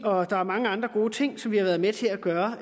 og der er mange andre gode ting som vi har været med til at gøre